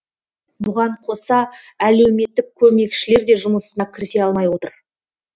бұған қоса әлеуметтік көмекшілер де жұмысына кірісе алмай отыр